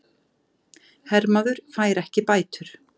Hermaður fær ekki bætur